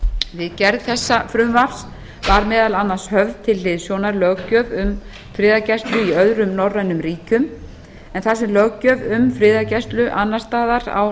við gerð þessa frumvarps var meðal annars höfð til hliðsjónar löggjöf um friðargæslu í öðrum norrænum ríkjum en þar sem löggjöf um friðargæslu annars staðar á